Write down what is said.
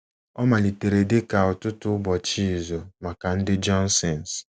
Ọ malitere dị ka ụtụtụ ụbọchị izu maka ndị Johnsons.